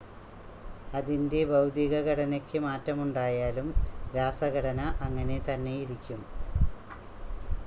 അതിൻ്റെ ഭൌതികഘടനക്ക് മാറ്റമുണ്ടായാലും രാസഘടന അങ്ങനെ തന്നെയിരിക്കും